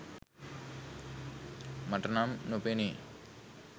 මට නම් නොපෙනේ.